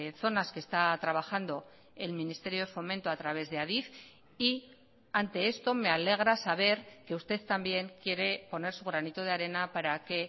zonas que está trabajando el ministerio de fomento a través de adif y ante esto me alegra saber que usted también quiere poner su granito de arena para que